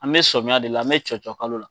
An mɛ sɔmiya de la an bɛ cɔcɔ kalo la.